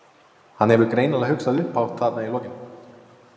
Hann hefur greinilega hugsað upphátt þarna í lokin.